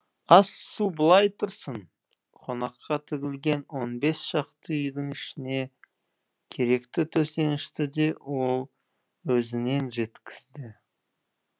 ас су былай тұрсын қонаққа тігілген он бес шақты үйдің ішіне керекті төсенішті де ол өзінен жеткізді